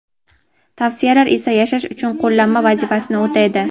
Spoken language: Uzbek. tavsiyalari esa yashash uchun qo‘llanma vazifasini o‘taydi.